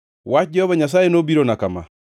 Wach Jehova Nyasaye nobirona kama: